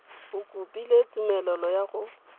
o kopile tumelelo ya go